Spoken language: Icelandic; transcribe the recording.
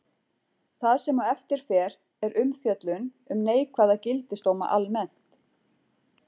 Það sem á eftir fer er umfjöllun um neikvæða gildisdóma almennt.